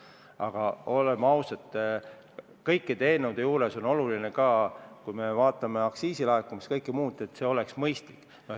Aga olgem ausad, kõikide eelnõude puhul on oluline ka see – kui me vaatame aktsiisilaekumisi ja kõike muud –, et need oleksid mõistlikud.